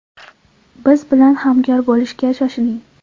Biz bilan hamkor bo‘lishga shoshiling!